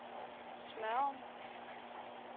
Smørum